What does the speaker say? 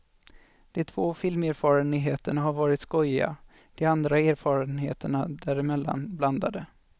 De två filmerfarenheterna har varit skojiga, de andra erfarenheterna däremellan blandade.